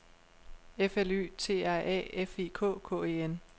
F L Y T R A F I K K E N